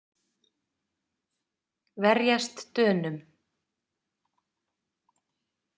Verjast Dönum!